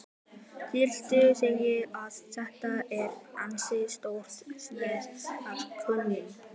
Þórhildur: Þannig að þetta er ansi stór sneið af kökunni?